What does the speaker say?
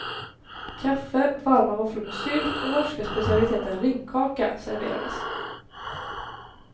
Kaffe, varma våfflor med sylt och norska specialiteten ringkaka serverades.